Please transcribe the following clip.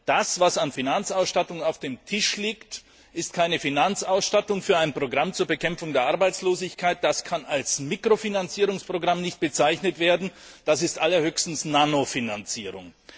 Das, was an Finanzausstattung auf dem Tisch liegt, ist keine Finanzausstattung für ein Programm zur Bekämpfung der Arbeitslosigkeit, das kann nicht als Mikrofinanzierungsprogramm bezeichnet werden, das ist allerhöchstens Nanofinanzierung!